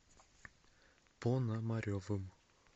понамаревым